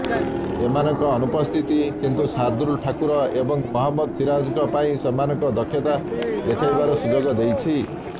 ଏମାନଙ୍କ ଅନୁପସ୍ଥିତି କିନ୍ତୁ ସାର୍ଦୁଲ ଠାକୁର ଏବଂ ମହମ୍ମଦ ସିରାଜଙ୍କ ପାଇଁ ସେମାନଙ୍କ ଦକ୍ଷତା ଦେଖାଇବାର ସୁଯୋଗ ଦେଇଛି